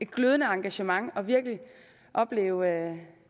glødende engagement og virkelig opleve